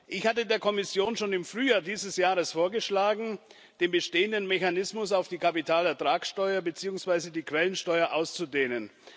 Ich hatte der Kommission schon im Frühjahr dieses Jahres vorgeschlagen, den bestehenden Mechanismus auf die Kapitalertragsteuer beziehungsweise die Quellensteuer auszudehnen.